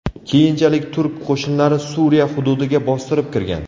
Keyinchalik turk qo‘shinlari Suriya hududiga bostirib kirgan .